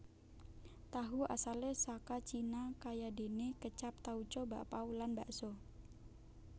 Tahu asalé saka Cina kayadéné kécap tauco bakpau lan bakso